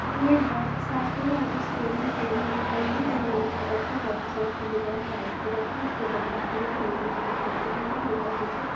ये एक workshop हैयंहा पे सामने टेबल दिख रही है जो येलो कलर की-- वर्क शॉप की दीवार व्हाइट कलर की-- उसमें दरवाजे जो नीले पेंट पोते हुए है ऊपर की छत--